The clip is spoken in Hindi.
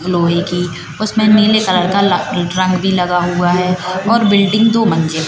लोहे की उसमें नीले कलर का ला ट्रक भी लगा हुआ है और बिल्डिंग दो मंजिल--